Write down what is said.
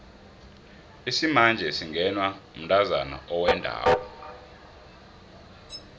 isimanje singenwa mntazana owendako